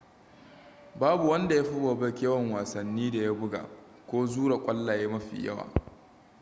babu wanda ya fi bobek yawan wasannin da ya buga ko zura kwallaye mafi yawa